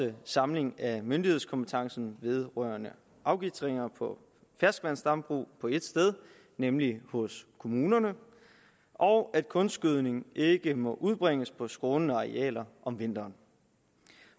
en samling af myndighedskompetencen vedrørende afgitringer på ferskvandsdambrug på ét sted nemlig hos kommunerne og at kunstgødning ikke må udbringes på skrånende arealer om vinteren